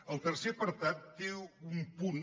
el tercer apartat té un punt